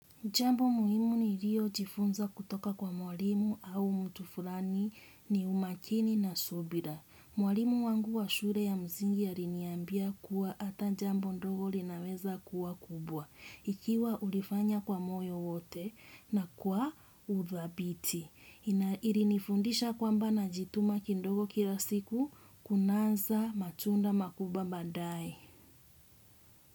Jambo muhimu ni rio jifunza kutoka kwa mwalimu au mtu fulani ni umakini na subira. Mwalimu wangu wa shule ya mzingi ariniambia kuwa ata jambo ndogo linaweza kuwa kubwa. Ikiwa ulifanya kwa moyo wote na kwa uthabiti. Irinifundisha kwamba najituma kindogo kila siku kunanza matunda makubwa baadae.